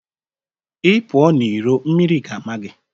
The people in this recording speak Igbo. Ị pụọ n'iro mmiri ga ama gị